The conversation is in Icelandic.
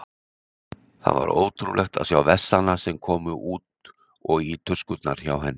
Það var ótrúlegt að sjá vessana sem komu út og í tuskurnar hjá henni.